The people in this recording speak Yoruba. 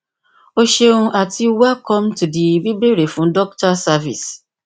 o ṣeun ati welcome to the bíbéèrè fún dokita service